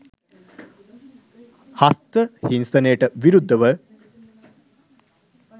"හස්ත හිංසනයට" විරුද්ධව?